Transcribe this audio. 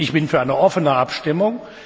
Ich bin für eine offene Abstimmung.